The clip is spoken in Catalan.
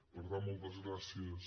per tant moltes gràcies